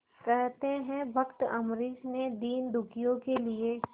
कहते हैं भक्त अम्बरीश ने दीनदुखियों के लिए